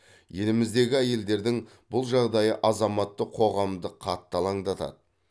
еліміздегі әйелдердің бұл жағдайы азаматтық қоғамды қатты алаңдатады